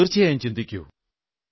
തീർച്ചയായും ചിന്തിക്കൂ